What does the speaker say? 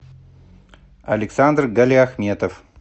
александр галиахметов